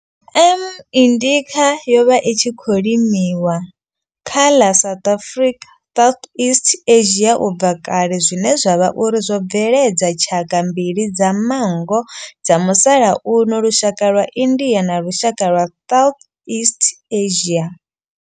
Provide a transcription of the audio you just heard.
M. indica yo vha i tshi khou limiwa kha ḽa South na Southeast Asia ubva kale zwine zwa vha uri zwo bveledza tshaka mbili dza manngo dza musalauno lushaka lwa India na lushaka lwa Southeast Asia.